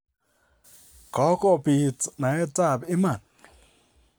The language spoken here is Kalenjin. Kogobit naetab iman.